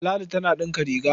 Ladi tana ɗinka riga.